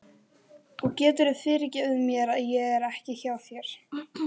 Og geturðu fyrirgefið mér að ég er ekki hjá þér?